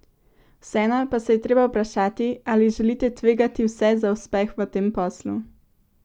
Vseeno pa se je treba vprašati, ali želita tvegati vse za uspeh v tem poslu?